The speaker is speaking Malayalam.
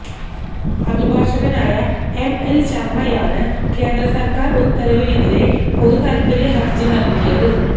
അഭിഭാഷകനായ എംഎല് ശര്മ്മയാണ് കേന്ദ്രസര്ക്കാര് ഉത്തരവിനെതിരെ പൊതുതാല്പ്പര്യ ഹര്ജി നല്കിയത്